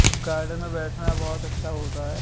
Garden में बैठना बहुत अच्छ होता है।